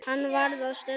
Hann varð að stöðva.